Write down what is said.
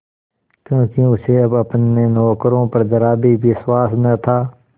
क्योंकि उसे अब अपने नौकरों पर जरा भी विश्वास न था